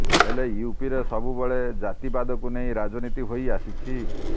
ହେଲେ ୟୁପିରେ ସବୁବେଳେ ଜାତିବାଦକୁ ନେଇ ରାଜନୀତି ହୋଇ ଆସିଛି